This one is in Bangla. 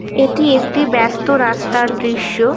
এটি একটি ব্যাস্ত রাস্তার দৃশ্য।